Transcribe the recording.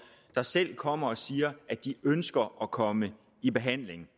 der selv kommer og siger at de ønsker at komme i behandling